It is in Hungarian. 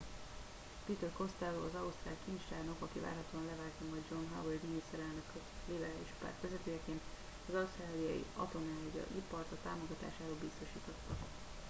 peter costello az ausztrál kincstárnok aki várhatóan leváltja majd john howard miniszterelnököta liberális párt vezetőjeként az ausztráliai atomenergia ipart a támogatásáról biztosította